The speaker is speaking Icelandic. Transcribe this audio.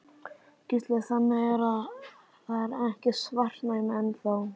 Gísli: Þannig að það er ekki svartnætti enn þá?